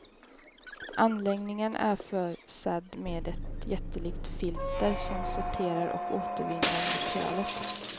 Anläggningen är försedd med ett jättelikt filter som sorterar och återvinner materialet.